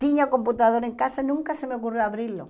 Tinha computador em casa, nunca se me ocorreu abri-lo.